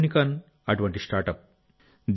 unicorn అటువంటి startup